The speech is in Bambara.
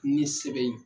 Ni sɛbɛn ye